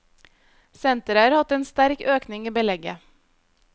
Senteret har hatt en sterk økning i belegget.